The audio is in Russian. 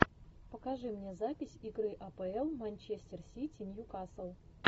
покажи мне запись игры апл манчестер сити ньюкасл